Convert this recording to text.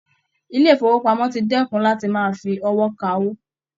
Ilé ifowopamọ tí dẹkùn láti máa fí ọwọ ká owó.